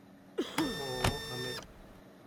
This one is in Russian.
ооо амет